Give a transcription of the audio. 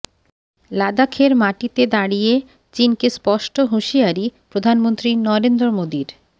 লাদাখের মাটিতে দাঁড়িয়ে চিনকে স্পষ্ট হুঁশিয়ারি প্রধানমন্ত্রী নরেন্দ্র মোদীর